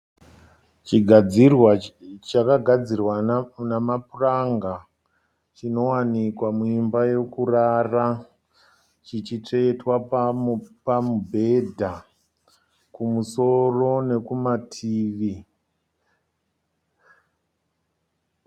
Chigadzirwa chakagadzirwa namapuranga. Chinowanikwa muimba yokurara. Chichitsvetwa pamubhedha kumusoro nekumativi.